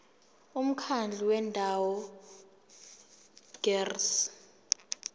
umkhandlu wendawo ngerss